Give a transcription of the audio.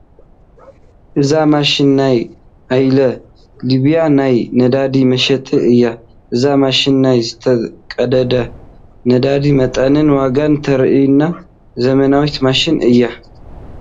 እዛ ማሽን ናይ ኦይል ሊብያ ናይ ነዳዲ መሸጢት እያ፡፡ እዛ ማሽን ናይ ዝተቀድሐ ነዳዲ መጠንን ዋጋን ተርእየና ዘመናዊት ማሽን እያ፡፡